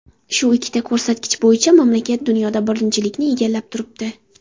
Shu ikkita ko‘rsatkich bo‘yicha mamlakat dunyoda birinchilikni egallab turibdi.